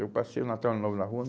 Eu passei o Natal, Ano Novo na rua.